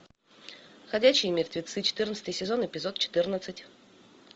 ходячие мертвецы четырнадцатый сезон эпизод четырнадцать